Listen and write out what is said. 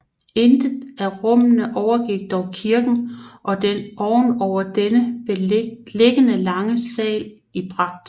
Intet af rummene overgik dog kirken og den oven over denne liggende lange sal i pragt